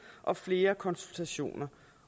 og flere konsultationer